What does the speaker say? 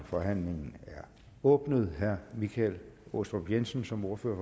forhandlingen er åbnet herre michael aastrup jensen som ordfører